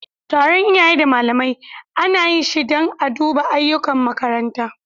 Taron iyaye da malamai ana yi shi dan a duba ayyukan makaranta.